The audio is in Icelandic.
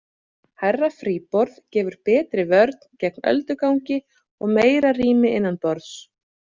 Hærra fríborð gefur betri vörn gegn öldugangi og meira rými innanborðs.